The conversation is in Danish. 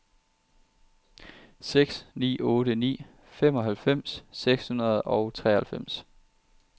seks ni otte ni femoghalvfems seks hundrede og treoghalvfems